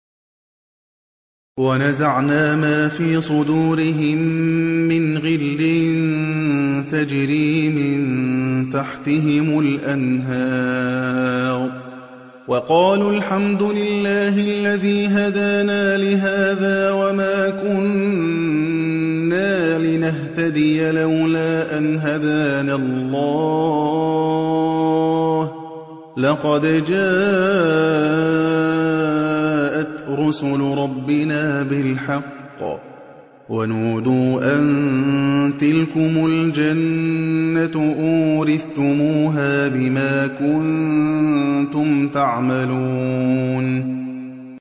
وَنَزَعْنَا مَا فِي صُدُورِهِم مِّنْ غِلٍّ تَجْرِي مِن تَحْتِهِمُ الْأَنْهَارُ ۖ وَقَالُوا الْحَمْدُ لِلَّهِ الَّذِي هَدَانَا لِهَٰذَا وَمَا كُنَّا لِنَهْتَدِيَ لَوْلَا أَنْ هَدَانَا اللَّهُ ۖ لَقَدْ جَاءَتْ رُسُلُ رَبِّنَا بِالْحَقِّ ۖ وَنُودُوا أَن تِلْكُمُ الْجَنَّةُ أُورِثْتُمُوهَا بِمَا كُنتُمْ تَعْمَلُونَ